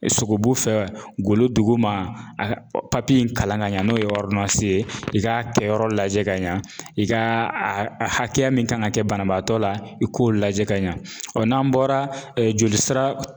Sogobu fɛ golo duguma papiye in kalan ka ɲɛ n'o ye ye i k'a kɛyɔrɔ lajɛ ka ɲa i ka a hakɛya min kan ka kɛ banabaatɔ la i k'o lajɛ ka ɲa ɔ n'an bɔra joli sira